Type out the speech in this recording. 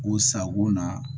O sago na